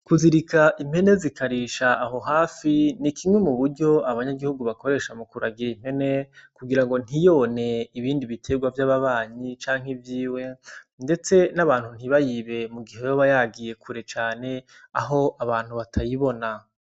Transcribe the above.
Kuzirika impene zikarisha aho hafi ni kimwe mu buryo abanyagihugu bakoresha mu kuragira impene kugira ngo ntiyone ibindi biterwa vy'ababanyi canke vyiwe ndetse n'abantu ntibayibe mu gihe yoba yagiye kure cane aho abantu batayibona.